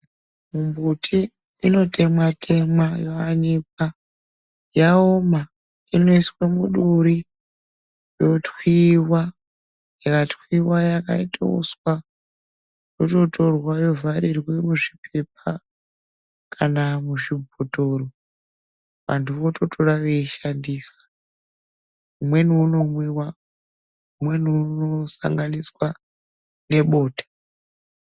Mumbuti inotemwa temwa yoanikwa yaoma inoiswa muduri yotwiwa ikatwiwa yakaiteuswa yototorwa yovharirwa muzvipepa kana muzvibhotoro vantu vototora voshandisa umweni uno mwiwa umweni uno sanganiswa nebota.